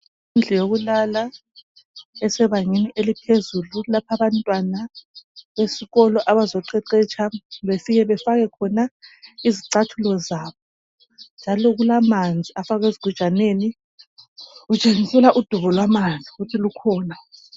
Indlu yokulala esebangeni eliphezulu lapho abantwana besikolo abazoqeqetsha befike befake khona izicathulo zabo. Njalo kutshengiselwa amanzi afakwe esigujaneni. Kutshengiselwa udubo lwamanzi ukuthi lukhona.